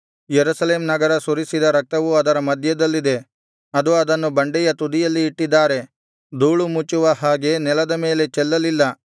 Jerusalem ನಗರ ಸುರಿಸಿದ ರಕ್ತವು ಅದರ ಮಧ್ಯದಲ್ಲಿದೆ ಅದು ಅದನ್ನು ಬಂಡೆಯ ತುದಿಯಲ್ಲಿ ಇಟ್ಟಿದ್ದಾರೆ ಧೂಳು ಮುಚ್ಚುವ ಹಾಗೆ ನೆಲದ ಮೇಲೆ ಚೆಲ್ಲಲಿಲ್ಲ